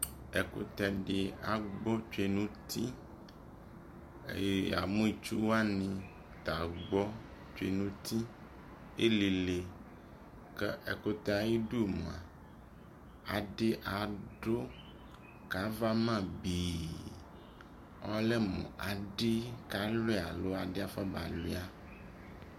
ɛkʋtɛ di agbɔ twɛ nʋ ʋti, yamʋ itsʋ wani ta agbɔ twɛ nʋ ʋti , ɛllilɛ kʋ ɛkʋtɛ ayidʋ mʋa adi adʋ kʋ aɣa ama bii, ɔlɛmʋ adi kawlia alɔ adi aƒɔ ba wlia